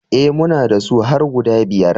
E, muna da su har guda biyar.